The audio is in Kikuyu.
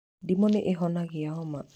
Ndimu nĩ ĩhonagia homa.